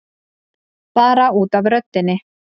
Bara út af röddinni.